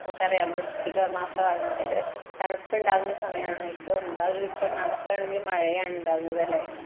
നമുക്കറിയാം വൃശ്ചിക മാസമാണ് അതായതു തണുപ്പ് ഉണ്ടാകുന്ന സമയമാണിപ്പോ ഇപ്പൊ ഉണ്ടാകുന്നത് നടക്കാണെങ്കിൽ മഴയാണുണ്ടാവുന്നത് അല്ലെ